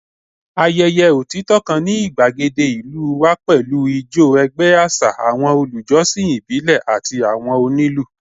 Ayẹyẹ otitọ kan ni igbagede ilu wa pẹlu ijó ẹgbẹ aṣa, awọn olujọsin ibile ati awọn onilu